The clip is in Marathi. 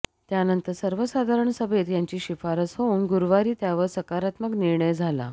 त्यानंतर सर्वसाधारण सभेत याची शिफारस होऊन गुरुवारी त्यावर सकारात्मक निर्णय झाला